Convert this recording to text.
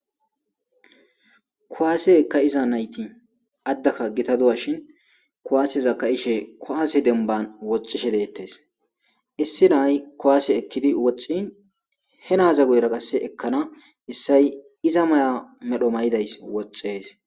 kowaase eka iza nayti addaka gita duwa shin kowaaseza ka7ishe kowaase demban woxishe deettes issi nay kowaase ekkidi woxxin he naaza guyra qasse ekkana issay iza maya medho may7idays woxxees